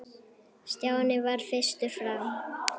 Stjáni varð fyrstur fram.